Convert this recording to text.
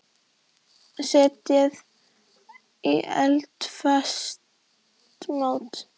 Setjið í eldfast mót.